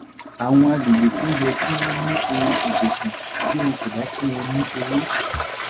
àwọn agbègbè kan yẹ kí wọ́n ní ohun-ìdẹ̀kùn bí wọn kò bá fún wọn ní owó.